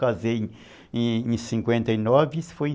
Que eu casei em cinquenta e nove e isso foi em